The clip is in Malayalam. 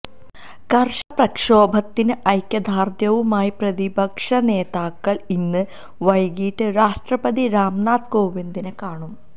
കർഷക പ്രക്ഷോഭത്തിന് ഐക്യദാര്ഢ്യവുമായി പ്രതിപക്ഷ നേതാക്കള് ഇന്ന് വൈകിട്ട് രാഷ്ട്രപതി രാംനാഥ് കോവിന്ദിനെ കാണും